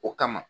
O kama